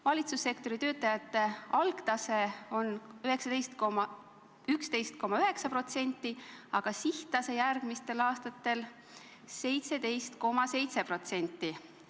Selle sektori töötajate algtase on 11,9% tööealisest elanikkonnast, sihttase järgmistel aastatel kuni 17,7%.